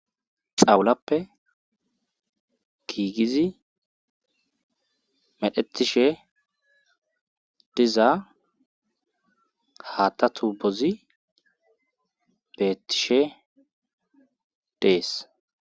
xawulappe giigizi medhetishe diza haatta tu bozi beettishe dees.